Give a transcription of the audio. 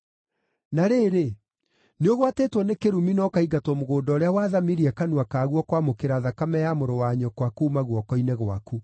Na rĩrĩ, nĩũgwatĩtwo nĩ kĩrumi na ũkaingatwo mũgũnda ũrĩa waathamirie kanua kaguo kwamũkĩra thakame ya mũrũ-wa-nyũkwa kuuma guoko-inĩ gwaku.